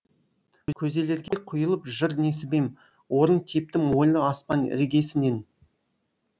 көзелерге құйылып жыр несібем орын тептім ойлы аспан іргесінен